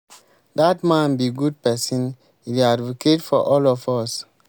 dat man be good person e dey advocate for all of us